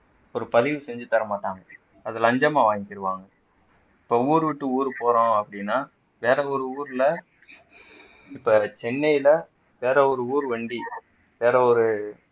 ஒரு பதிவு செஞ்சு தர மாட்டாங்க அத லஞ்சமா வாங்கிக்கிருவாங்க இப்ப ஊரு விட்டு ஊர் போறோம் அப்படின்னா வேற ஒரு ஊர்ல இப்ப சென்னையில வேற ஒரு ஊர் வண்டி வேற ஒரு